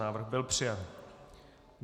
Návrh byl přijat.